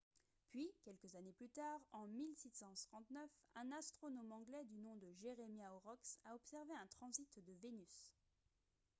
puis quelques années plus tard en 1639 un astronome anglais du nom de jeremiah horrocks a observé un transit de vénus